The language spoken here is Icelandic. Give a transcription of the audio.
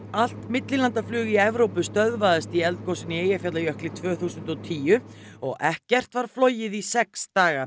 allt millilandaflug í Evrópu stöðvaðist í eldgosinu í Eyjafjallajökli tvö þúsund og tíu og ekkert var flogið í sex daga